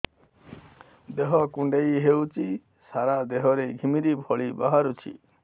ଦେହ କୁଣ୍ଡେଇ ହେଉଛି ସାରା ଦେହ ରେ ଘିମିରି ଭଳି ବାହାରୁଛି